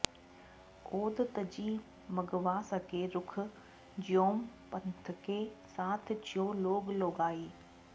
औध तजी मगवासके रूख ज्यों पंथके साथ ज्यों लोग लोगाई